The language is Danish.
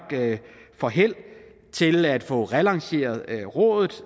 får held til at få relanceret rådet